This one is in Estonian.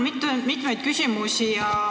Mul on mitmeid küsimusi.